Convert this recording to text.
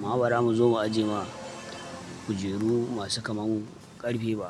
Ma bara mu zo mu aje ma kujeru masu kamar mu ƙarfe ba?